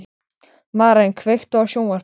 Estefan, ferð þú með okkur á föstudaginn?